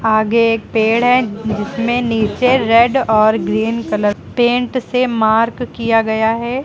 आगे एक पेड़ है जिसमें नीचे रेड और ग्रीन कलर पेंट से मार्क किया गया है।